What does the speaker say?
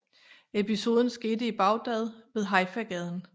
Episoden skete i Baghdad ved Haifa gaden